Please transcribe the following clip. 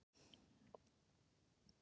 Freyþór, hvenær kemur nían?